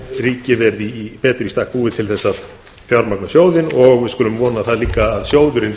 ríkið verið betur í stakk búið til að fjármagna sjóðinn og við skulum vona það líka að sjóðurinn